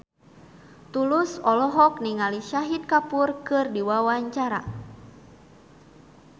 Tulus olohok ningali Shahid Kapoor keur diwawancara